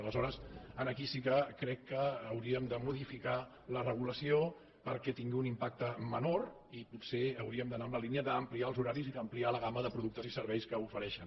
aleshores aquí sí que crec que hauríem de modificar la regulació perquè tingui un impacte menor i potser hauríem d’anar en la línia d’ampliar els horaris i d’ampliar la gamma de productes i serveis que ofereixen